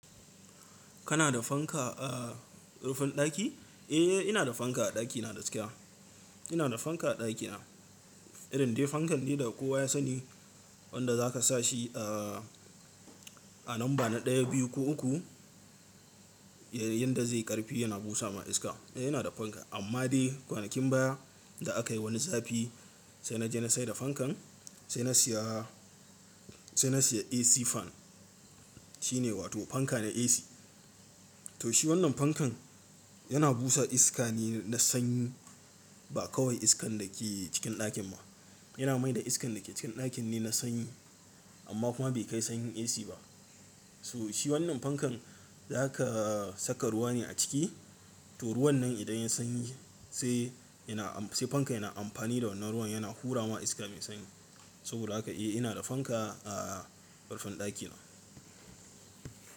Kana da fanka a rufin ɗaki? Eh, ina da fanka a ɗakina da gaskiya. Ina da fanka a ɗakina. Irin dai fankan dai da kowa ya sani wanda zaka sa shi a, a lamba na ɗaya, biyu ko uku, ya, yanda zai ƙarfi yana busa ma iska. Eh, ina da fanka. Amma dai kwanakin baya da aka yi wani zafi sai na je na saida fankan sai na siya, sai na siya AC fan. Shi ne wato fanka na AC. To shi wannan fankan yana busa iska ne na sanyi ba kawai iskan da ke cikin ɗakin ba. Yana mai da iskan da ke cikin ɗakin ne na sanyi amma kuma bai kai sanyin AC ba. To shi wannan fankan zaka saka ruwa ne a ciki. To ruwan nan idan yayi sanyi sai ina am-- sai fanka yana amfani da wannan ruwan yana hura ma iska mai sanyi. Saboda haka eh ina da fanka a, a rufin ɗakina.